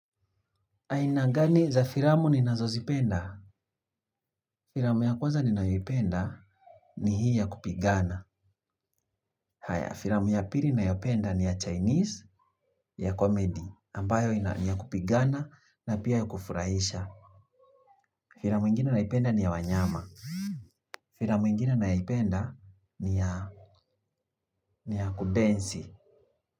Aina gani za filamu ninazozipenda? Filamu ya kwanza ninayoipenda ni hii ya kupigana. Haya, filamu ya pili nayopenda ni ya Chinese, ya comedy, ambayo ni ya kupigana na pia ya kufurahisha. Filamu ingine nayoipenda ni ya wanyama. Filamu ingine nayoipenda ni ya kudensi.